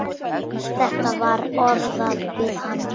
Þetta var orðað við hann.